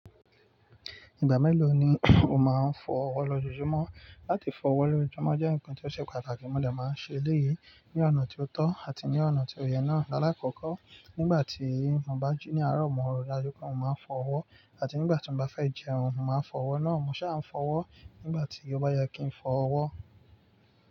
Ìgbà mélòó ni o máa ń fọ ọwọ́ lọjọ́jumọ́? Láti fọ ọwọ́ lójojúmọ́ jẹ́ ǹkan tó ṣe pàtàkì, mo de má ń ṣe eléyìí ní ọ̀nà tó tọ́ àti ní ọ̀nà tí òye náa. Láàkọ́kọ́, nígbà tí mo bá jí ní àárọ̀, mo mọ̀ dájú pé mo máa fọ ọwọ́, àti nígbà tí mo bá fẹ́ jẹun, mo máa fọ ọwọ́ náà. Mo ṣà ń fọ ọwọ́ nígbà tí ó bá yẹ kí n fọ ọwọ́